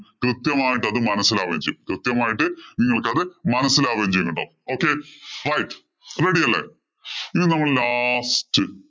കൃത്യമായിട്ട്‌ അത് മനസിലാവുകയും ചെയ്യും. കൃത്യമായിട്ട്‌ നിങ്ങള്‍ക്ക് അത് മനസിലാവുകയും ചെയ്യുന്നുണ്ടാകും. Okay, fine, ready അല്ലേ? ഇനി നമ്മള് last